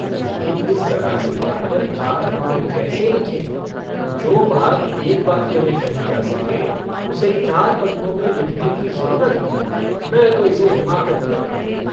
लेकिन इस जरासी बात पर चार पन्ने कैसे लिखें जो बात एक वाक्य में कही जा सके उसे चार पन्नों में लिखने की जरूरत मैं तो इसे हिमाकत कहता हूँ।